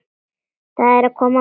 Það er að koma maí.